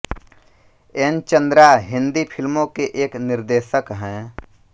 N Chandra Hindi फ़िल्मों के एक निर्देशक हैं